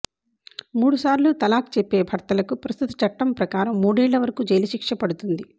మూడుసార్లు తలాక్ చెప్పే భర్తలకు ప్రస్తుత చట్టం ప్రకారం మూడేళ్ల వరకు జైలు శిక్ష పడుతుంది